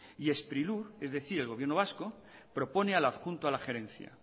y sprilur es decir el gobierno vasco propone al adjunto a la gerencia